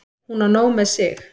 Hún á nóg með sig.